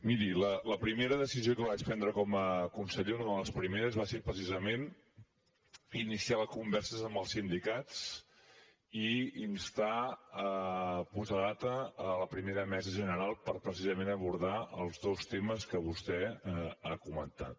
miri la primera decisió que vaig prendre com a conseller una de les primeres va ser precisament iniciar converses amb els sindicats i instar a posar data a la primera mesa general per precisament abordar els dos temes que vostè ha comentat